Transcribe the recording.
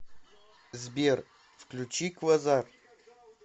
сбер включи квазар